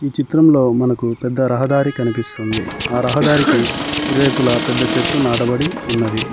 ఈ చిత్రంలో మనకు పెద్ద రహదారి కనిపిస్తుంది ఆ రహదారికి ఇరువైపులా పెద్ద చెట్లు నాటబడి ఉన్నవి.